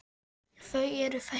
Þau eru þessi